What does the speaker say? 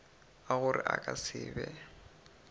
a gore a ka se